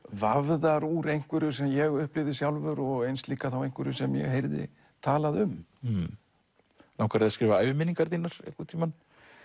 vafðar úr einhverju sem ég upplifði sjálfur og eins líka einhverju sem ég heyrði talað um langar þig að skrifa æviminningar þínar einhvern tímann